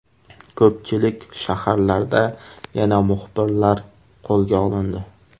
Ko‘pchilik shaharlarda yana muxbirlar qo‘lga olindi.